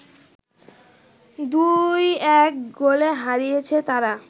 ২-১ গোলে হারিয়েছে তারা